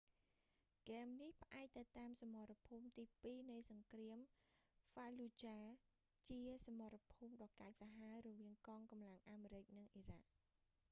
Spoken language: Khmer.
ហ្គេមនេះ ផ្អែកទៅតាមសមរភូមិទីពីរនៃសង្គ្រាម ហ្វាលូចាហ៍ fallujah ជាសមរភូមិដ៏កាចសាហាវរវាងកងកម្លាំងអាមេរិកនិងអ៊ីរ៉ាក់